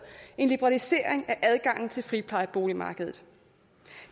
en liberalisering af adgangen til friplejeboligmarkedet